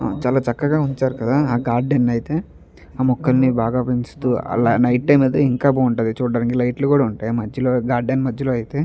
చాలా చక్కగా ఉంచారు కదా ఆ గార్డెన్ అయితే. ఆ ముక్కల్ని బాగా పెంచుతూ అలా నైట్ టైం అయితే ఇంకా బాగుంటది. చూడడానికి లైట్ లు కూడా ఉంటాయి మధ్యలో గార్డెన్ మధ్యలో అయితే.